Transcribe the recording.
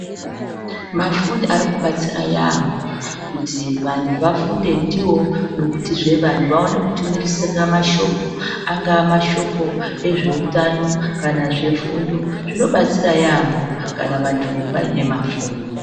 Mafoni arikubatsira yaampho kuti vantu vafunde ndiwo nekutizve vanhtu vaone kutumirisire mashoko. Angaa mashoko ezveutano kana zvefundo, zvinobatsira yaampho kana vantu vaine mafoni.